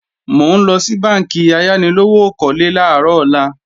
Mò ńlọ sí bánkì ayánilówókọ́lé làárọ̀ ọ̀la